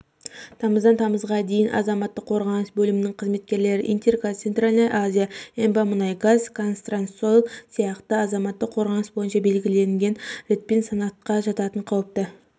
тамыздан тамызға дейін азаматтық қорғаныс бөлімінің қызметкерлері интергаз центральная азия эмбамұнайгаз казтрансойл сияқты азаматтық қорғаныс бойынша белгіленген ретпен санатқа жататын қауіпті